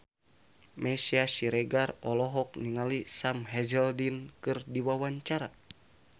Meisya Siregar olohok ningali Sam Hazeldine keur diwawancara